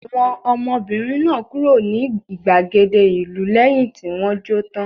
Àwọn ọmọbìnrin náà kúrò ní ìgbàgede ìlú lẹ́yìn tí wọ́n jó tán?